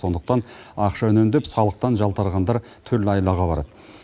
сондықтан ақша үнемдеп салықтан жалтарғандар түрлі айлаға барады